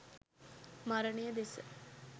මරණය දෙස